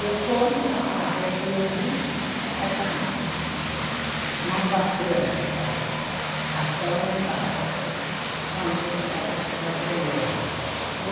Depois da rua que eu vi, era uma barreira só, até lá embaixo, onde era a chegada da beleza.